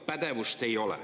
Pädevust ei ole.